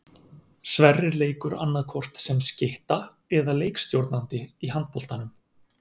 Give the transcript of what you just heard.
Sverrir leikur annaðhvort sem skytta eða leikstjórnandi í handboltanum.